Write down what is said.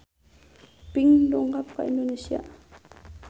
Pink dongkap ka Indonesia